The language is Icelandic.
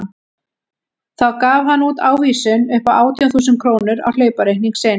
Þá gaf hann út ávísun upp á átján þúsund krónur á hlaupareikning sinn.